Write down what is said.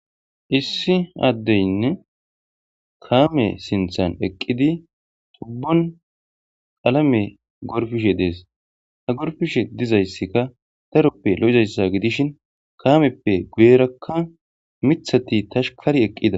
issi addeynne kaame sinthan eqqidi tubbon qalame gorfishe dees ha gorfishe dizayssika taroppe lo7zayssa gidishin kaameppe guyerakka mithati tashkari eqqida